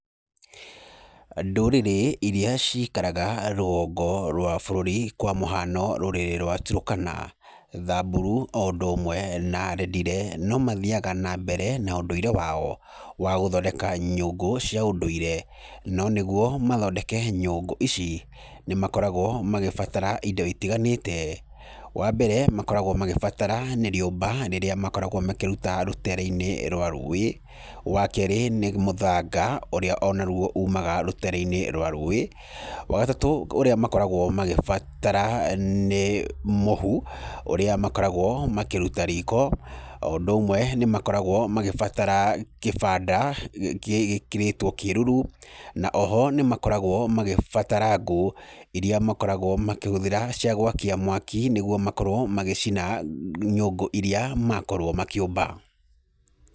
Ndũrĩrĩ irĩa cikaraga rũgongo rwa bũrũri, kwa mũhano rũrĩrĩ rwa turũkana, thamburu, o hamwe na rendille, no mathiaga na mbere na ũndũire wao, wa gũthondeka nyũngũ cia ũndũire, no nĩguo mathondeke nyũngũ ici, nĩ makoragwo magĩbatara indo itiganĩte, wa mbere, makoragwo magĩbatara nĩ rĩũmba rĩrĩa makoragwo makĩruta rũtere-inĩ rwa rũĩ, wa kerĩ nĩ mũthanga ũrĩa onaruo umaga rũtere-inĩ rwa rũĩ, wa gatatũ ũrĩa makoragwo magĩbatara, nĩ mũhu, ũrĩa makoragwo makĩruta riko, o ũndũ ũmwe nĩ makoragwo magĩbatara kibanda gĩ gĩkĩrĩtwo kĩruru, na oho nĩ makoragwo magĩbatara ngũ irĩa makoragwo makĩhũthĩra cia gwakia mwaki, nĩguo makorwo magĩcina nyũngũ irĩa makorwo makĩũmba.